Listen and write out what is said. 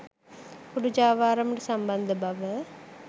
කුඩු ජාවාරමට සම්බන්ධ බව